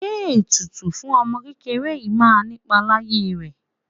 Ṣé ètùtù fún ọmọ kékeré yìí máa nipa láyé rẹ?